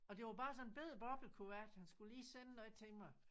Og det var bare sådan en bette boblekuvert han skulle lige sende noget til mig